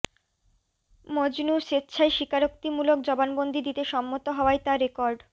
মজনু স্বেচ্ছায় স্বীকারোক্তিমূলক জবানবন্দি দিতে সম্মত হওয়ায় তা রেকর্ড